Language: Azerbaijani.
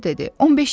15-də.